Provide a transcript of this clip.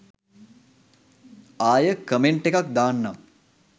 ආය කමෙන්ට් එකක් දාන්නම්.